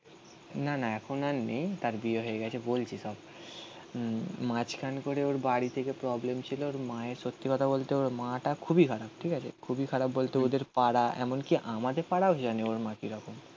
না না এখন আর নেই তার বিয়ে হয়ে গেছে বলছি সব মাঝখানে করে ওর বাড়ি থেকে প্রবলেম ছিল ওর মায়ের সত্যি কথা বলতে ওর মা টা খুবই খারাপ ঠিক আছে খুবই খারাপ বলতে ওদের পাড়া এমনকি আমাদের পাড়াও জানে ওর মা কি রকম